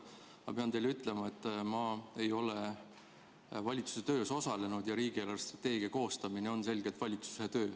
Ma pean teile ütlema, et ma ei ole valitsuse töös osalenud, aga riigi eelarvestrateegia koostamine on selgelt valitsuse töö.